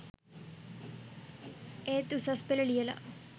ඒත් උසස් පෙළ ලියලා